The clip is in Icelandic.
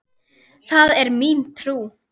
Það er mín trú.